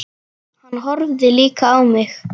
Hann horfði líka á mig.